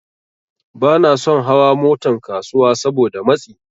Banason hawan Motan kasuwa Saboda matsi